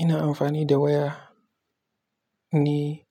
Ina amfani da waya ni